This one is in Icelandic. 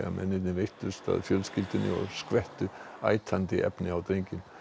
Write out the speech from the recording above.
mennirnir veittust að fjölskyldunni og skvettu efni á drenginn